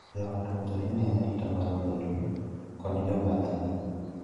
Joot owinjore onee arita mar welo kod jobathgi ka gilorone guogi ei ode.